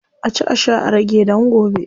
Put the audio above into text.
A ci a sha a rage dan gobe.